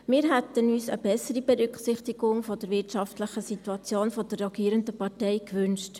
Wir hätten uns eine bessere Berücksichtigung der wirtschaftlichen Situation der rogierenden Partei gewünscht.